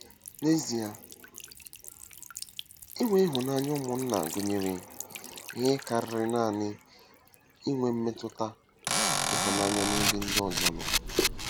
N'ezie, inwe ịhụnanya ụmụnna gụnyere ihe karịrị nanị inwe mmetụta ịhụnanya n'ebe ndị ọzọ nọ.